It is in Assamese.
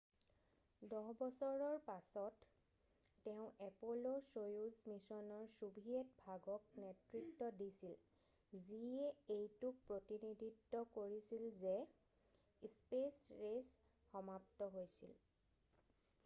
10 বছৰৰ পাছত তেওঁ এপ'ল'-সৌয়ুজ মিছনৰ ছোভিয়েট ভাগক নেতৃত্ব দিছিল যিয়ে এইটোক প্ৰতিনিধিত্ব কৰিছে যে স্পেচ ৰেচ সমাপ্ত হৈছিল৷